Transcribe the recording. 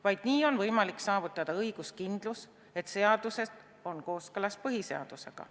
Vaid nii on võimalik saavutada õiguskindlus, et seadused on kooskõlas põhiseadusega.